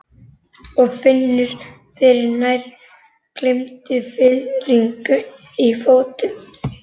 Og finnur fyrir nær gleymdum fiðringi í fótum.